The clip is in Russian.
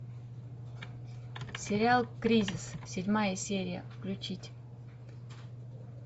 сериал кризис седьмая серия включить